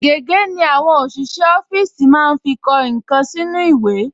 Gègé ni àwọn ọṣìṣẹ́ ọfíìsì máa ń fi kọ nǹkan sínú ìwé